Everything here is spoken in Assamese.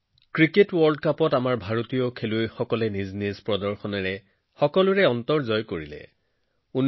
ক্ৰিকেট বিশ্বকাপত ভাৰতীয় খেলুৱৈয়ে নিজৰ প্ৰদৰ্শনেৰে সকলোৰে হৃদয় জয় কৰিবলৈ সক্ষম হৈছে